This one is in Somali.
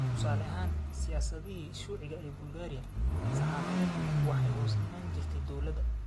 Tusaale ahaan, siyaasadihii shuuciga ee Bulgaariya, saxafiyaddu waxay hoos iman jirtay dawladda.